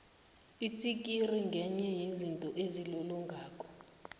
itsikiri ngenye yezinto ezilolongako